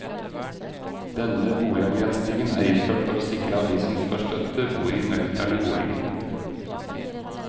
Denne boligavgrensningen er innført for å sikre at de som mottar støtte, bor i nøkterne boliger.